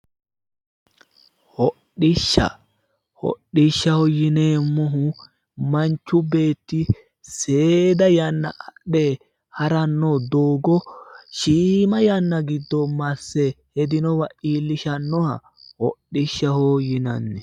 Hodhishsha. Hodhishshaho yineemmohu manchu beetti seeda yanna adhe haranno doogo shiima yanna giddo masse hedinowa iilishannoha hodhishsha yinanni.